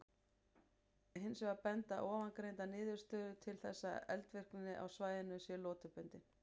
Hins vegar benda ofangreindar niðurstöður til þess að eldvirkni á svæðinu sé lotubundin.